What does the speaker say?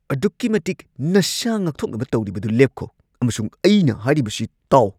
ꯑꯗꯨꯛꯀꯤ ꯃꯇꯤꯛ ꯅꯁꯥ ꯉꯥꯛꯊꯣꯛꯅꯕ ꯇꯧꯔꯤꯕꯗꯨ ꯂꯦꯞꯈꯣ ꯑꯃꯁꯨꯡ ꯑꯩꯅ ꯍꯥꯏꯔꯤꯕꯁꯤ ꯇꯥꯎ ꯫